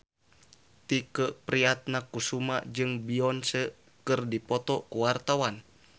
Tike Priatnakusuma jeung Beyonce keur dipoto ku wartawan